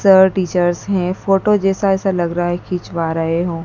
Sir teachers हैं photo जैसा ऐसा लगा रहा हैं खिंचवा रहें हो।